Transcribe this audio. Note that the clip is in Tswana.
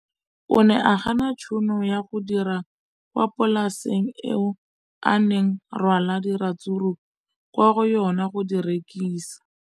O ne a gana tšhono ya go dira kwa polaseng eo a neng rwala diratsuru kwa go yona go di rekisa.